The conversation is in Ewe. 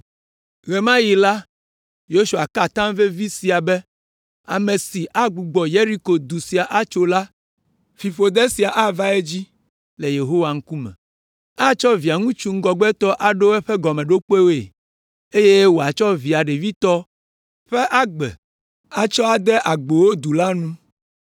Ɣe ma ɣi la, Yosua ka atam vevi sia be, “Ame si agbugbɔ Yeriko du sia atso la, fiƒode sia ava edzi le Yehowa ŋkume. Atsɔ Via ŋutsu ŋgɔgbetɔ aɖo eƒe gɔmeɖokpewoe, eye wòatsɔ via ɖevitɔ ƒe agbe atsɔ ade agbowo du la nu.”